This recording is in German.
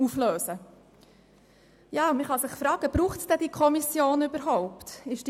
Man kann sich fragen, ob es diese Kommission überhaupt braucht.